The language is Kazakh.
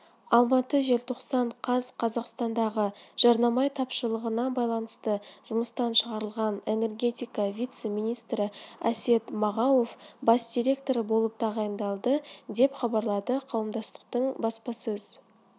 алматы желтоқсан қаз қазақстандағы жанармай тапшылығына байланысты жұмыстан шығарылған энергетика вице-министріәсет мағауов бас директоры болып тағайындалды деп хабарлады қауымдастықтың баспасөз